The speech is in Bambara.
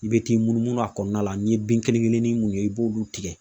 I be t'i munumunu a kɔnɔna la ,n'i ye bin kelen kelennin mun ye i b'olu tigɛ.